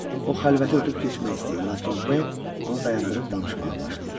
O xəlvəti ötüb keçmək istəyir, lakin B. onu dayandırıb danışmağa başlayır.